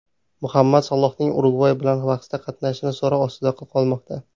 Muhammad Salohning Urugvay bilan bahsda qatnashishi so‘roq ostida qolmoqda.